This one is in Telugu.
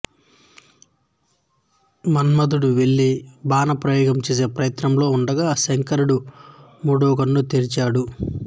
మన్మథుడు వెళ్ళి బాణ ప్రయోగం చేసే ప్రయత్నంలో ఉండగా శంకరుడు మూడవకన్ను తెరచాడు